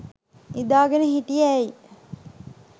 නිදා ගෙන හිටියේ ඇයි?